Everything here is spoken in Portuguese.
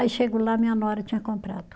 Aí chego lá, minha nora tinha comprado.